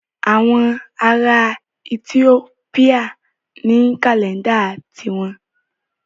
Àwọn ará Ethiopia ní kàlẹ́ńdà ti wọn.